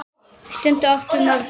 Þær stundir áttum við margar.